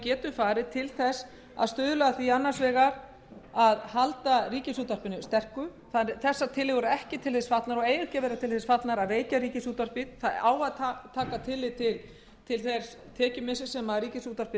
getum farið til að stuðla annars vegar að halda ríkisútvarpinu sterku þessar tillögur eru og eiga ekki að vera til þess fallnar að veikja ríkisútvarpið það á að taka tillit til þess tekjumissis sem ríkisútvarpið